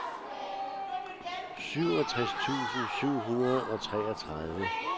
syvogtres tusind syv hundrede og treogtredive